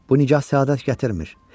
Bu nigah səadət gətirmir.